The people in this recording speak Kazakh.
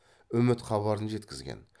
үміт хабарын жеткізген